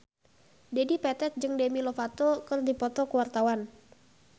Dedi Petet jeung Demi Lovato keur dipoto ku wartawan